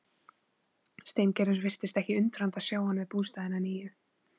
Steingerður virtist ekki undrandi að sjá hann við bústaðinn að nýju.